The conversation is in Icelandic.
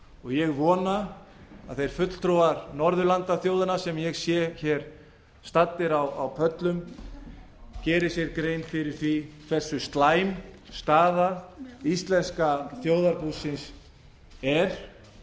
og ég vona að þeir fulltrúar norðurlandaþjóðanna sem ég sé hér stadda á pöllum geri sér grein fyrir því hversu slæm staða íslenska þjóðarbúsins er